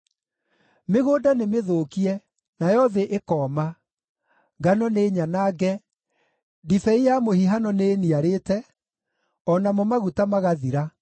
Mĩgũnda nĩmĩthũkie, nayo thĩ ĩkooma; ngano nĩnyanange, ndibei ya mũhihano nĩĩniarĩte, o namo maguta magathira.